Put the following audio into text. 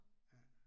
Ja